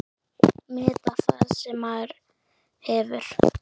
Meta það sem maður hefur.